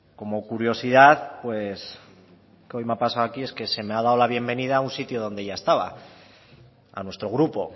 como curiosidad que hoy me ha pasado aquí es que se me ha dado la bienvenida a un sitio donde ya estaba a nuestro grupo